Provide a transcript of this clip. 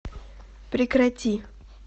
прекрати